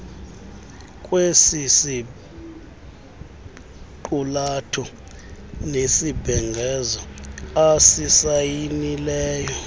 kwesisiqulatho nesibhengezo asisayinileyo